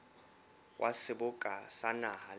wa seboka sa naha le